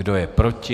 Kdo je proti?